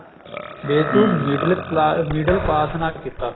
ਵੇ ਤੂੰ middle class middle pass ਨਾ ਕੀਤਾ